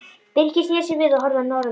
Birkir sneri sér við og horfði í norður.